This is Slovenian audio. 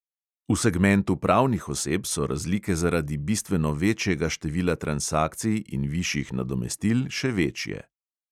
V segmentu pravnih oseb so razlike zaradi bistveno večjega števila transakcij in višjih nadomestil še večje.